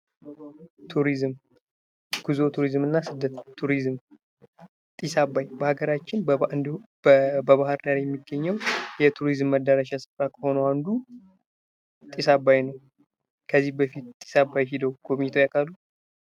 ቱሪዝም፦ ጉዞ፣ ቱሪዝም እና ስደት፦ ቱሪዝም ፦ ጢስ አባይ በሀገራችም እንዲሁም በባህር ዳር የሚገኘው የቱሪዝም መደረሻ ስፍራ ከሆነው አንዱ ጢስ አባይ ነው። ከዚህ በፊት ጢስ አባይ ሂደው ጎብኝተው ያቃሉ?